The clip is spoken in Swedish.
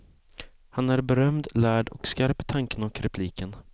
Han är berömd, lärd och skarp i tanken och repliken.